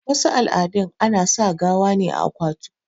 wasu al'adun ana sa gawa ne a akwatu